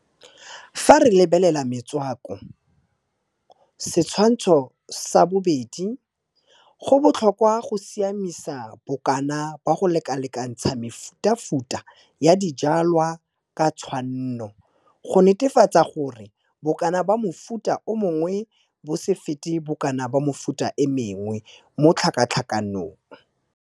Fa re lebelela metswako Setshwantsho sa 2, go botlhokwa go siamisa bokana ba go lekalekantsha mefutafuta ya dijwalwa ka tshwanno, go netefatsa gore bokana ba mofuta o mongwe bo se fete bokana ba mefuta e mengwe mo tlhakatlhakanong.